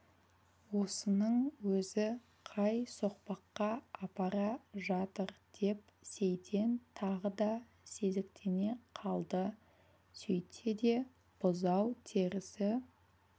осының өзі қай соқпаққа апара жатыр деп сейтен тағы да сезіктене қалды сөйтсе де бұзау терісі